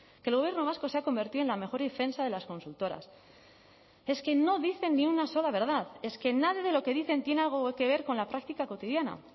que el gobierno vasco se ha convertido en la mejor defensa de las consultoras es que no dicen ni una sola verdad es que nada de lo que dicen tiene algo que ver con la práctica cotidiana